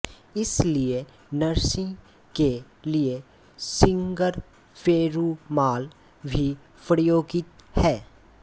इसलिए नरसिंह के लिए सिगंरपेरुमाल भी प्रयोगित है